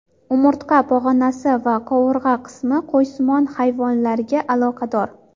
Umurtqa pog‘onasi va qovurg‘a qismi qo‘ysimon hayvonlarga aloqador.